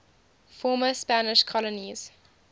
former spanish colonies